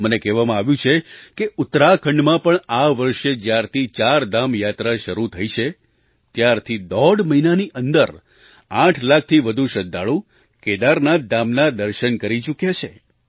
મને કહેવામાં આવ્યું કે ઉત્તરાખંડમાં પણ આ વર્ષે જ્યારથી ચારધામ યાત્રા શરૂ થઈ છે ત્યારથી દોઢ મહિનાની અંદર આઠ લાખથી વધુ શ્રદ્ધાળુ કેદારનાથ ધામના દર્શન કરી ચૂક્યા છે